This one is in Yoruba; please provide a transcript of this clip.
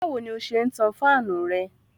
Báwo ni ó ṣe ń tan fáànù rẹ?